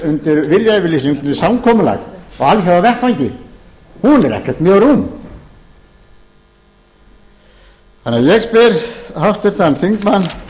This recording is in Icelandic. undir samkomulag á alþjóðavettvangi hún er ekkert mjög rúm ég spyr því háttvirtan þingmann